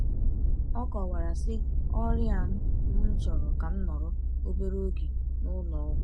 Ọ kọwara, sị: “Ọrịa m m chọrọ ka m nọrọ obere oge n’ụlọ ọgwụ.”